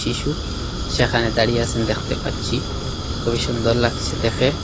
কিসু স্যাখানে দাঁড়িয়ে আসেন দ্যাখতে পাচ্ছি কুবই সুন্দর লাগছে দেখে।